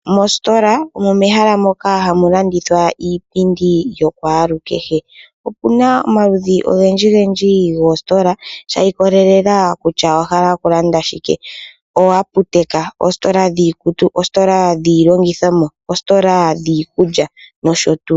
Mositola omo mehalamoka hamu landithwa